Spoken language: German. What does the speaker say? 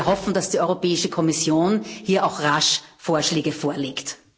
Und wir hoffen, dass die Europäische Kommission hier auch rasch Vorschläge vorlegt.